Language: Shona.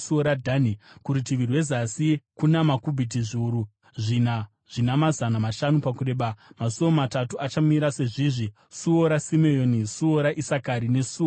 Kurutivi rwezasi, kuna makubhiti zviuru zvina zvina mazana mashanu pakureba, masuo matatu achamira sezvizvi: suo raSimeoni, suo raIsakari nesuo raZebhuruni.